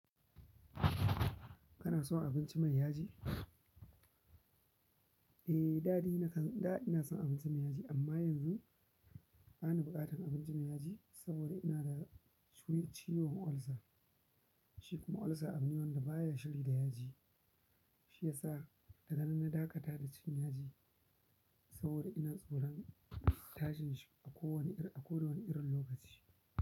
Kana son abinci mai yaji? Eh, da dai. Da ina son abinci mai yaji, amma yanzu bani buƙatar abinci mai yaji saboda ina da ciwon ulcer. Shi kuma ulcer abune wanda baya shiri da yaji. Shiyasa daga nan na dakata da cin yaji saboda ina tsoron tashinsa a kowane irin lokaci.